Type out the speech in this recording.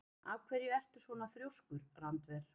Af hverju ertu svona þrjóskur, Randver?